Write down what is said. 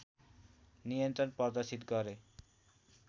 नियन्त्रण प्रदर्शित गरे